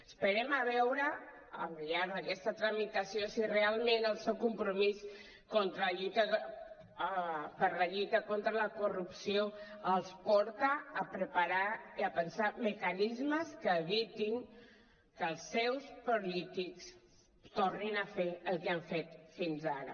esperem a veure al llarg d’aquesta tramitació si realment el seu compromís per la lluita contra la corrupció els porta a preparar i a pensar mecanismes que evitin que els seus polítics tornin a fer el que han fet fins ara